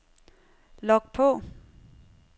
log på